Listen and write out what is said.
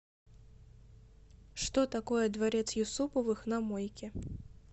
что такое дворец юсуповых на мойке